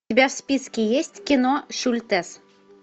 у тебя в списке есть кино шультес